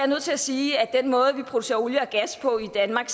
nødt til sige at den måde vi producerer olie og gas på i danmark